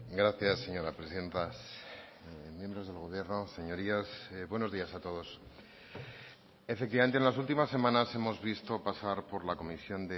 gracias señora presidenta miembros del gobierno señorías buenos días a todos efectivamente en las últimas semanas hemos visto pasar por la comisión